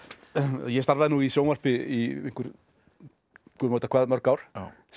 ég starfaði nú í sjónvarpi í einhver Guð má vita hvað mörg ár sem